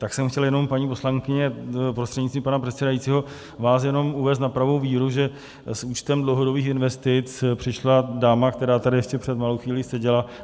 Tak jsem chtěl jenom, paní poslankyně, prostřednictvím pana předsedajícího vás jenom uvést na pravou víru, že s účtem dlouhodobých investic přišla dáma, která tady ještě před malou chvílí seděla.